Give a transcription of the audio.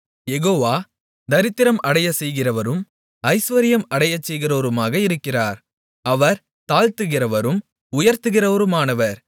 யெகோவா தரித்திரம் அடையச்செய்கிறவரும் ஐசுவரியம் அடையச்செய்கிறவருமாக இருக்கிறார் அவர் தாழ்த்துகிறவரும் உயர்த்துகிறவருமானவர்